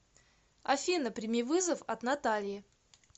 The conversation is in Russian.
афина прими вызов от натальи